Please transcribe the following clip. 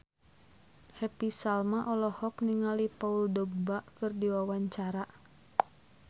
Happy Salma olohok ningali Paul Dogba keur diwawancara